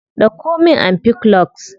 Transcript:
Dauko min ampiclox.